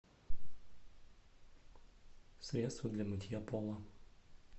средство для мытья пола